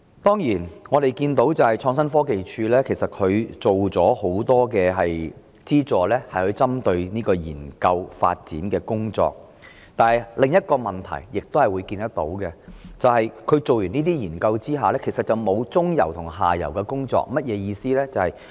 當然，我們看到創科署提供了許多針對研究發展的資助，但由此衍生另一個問題，便是這些研究完成了後，其實並沒有接續中游和下游的工作，這是甚麼意思？